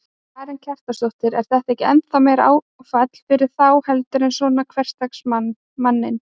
Karen Kjartansdóttir: Er þetta ekki ennþá meira áfall fyrir þá heldur en svona hversdagsmann, manninn?